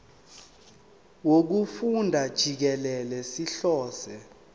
wokufunda jikelele sihlose